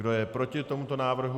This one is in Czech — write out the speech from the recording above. Kdo je proti tomuto návrhu?